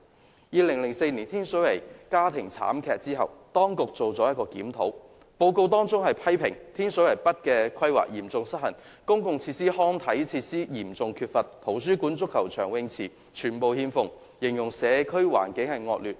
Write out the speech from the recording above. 在2004年天水圍發生家庭慘劇後，當局曾進行一項檢討，有關的報告批評天水圍北的規劃嚴重失衡，公共設施及康體設施嚴重缺乏，圖書館、足球場及泳池全部欠奉，形容社區環境惡劣。